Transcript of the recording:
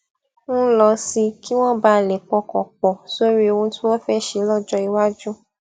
ń lọ sí kí wón bàa lè pọkàn pò sórí ohun tí wón fé ṣe lójó iwájú